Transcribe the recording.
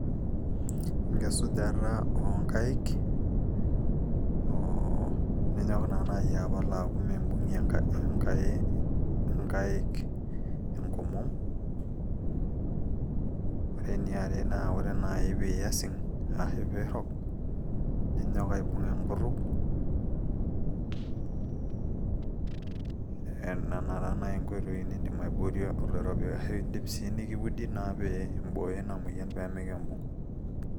enkisujata oonkaik oo ninyok naa naaji apal aaku mimbung'ie inkaik enkomom ore eniare naa ore naaji piiyasing ashu piirrok ninyok aibung enkutuk nena taa naaji inkoitoi nindim aiboorie oloirobi ashu indim naa sii nikiudi naa pee imbooyo ina moyian pee mikiimbung.